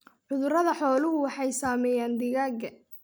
Cudurada xooluhu waxay saameeyaan digaagga.